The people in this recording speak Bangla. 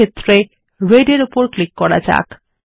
কলর ক্ষেত্রে রেড এর উপর ক্লিক করা যাক